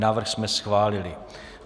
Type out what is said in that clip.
Návrh jsme schválili.